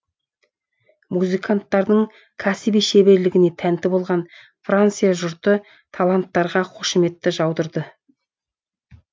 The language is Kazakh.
музыканттардың кәсіби шеберлігіне тәнті болған франция жұрты таланттарға қошеметті жаудырды